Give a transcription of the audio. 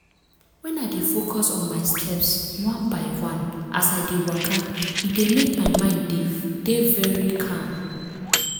when i dey focus on my steps one by one as i dey waka e dey mek my mind dey very calm.